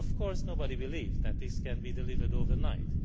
Of course, nobody believes that this can be delivered overnight.